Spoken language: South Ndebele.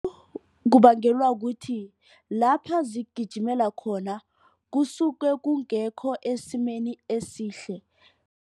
Kubangelwa kuthi lapha zigijimela khona kusuke kungekho esimeni esihle.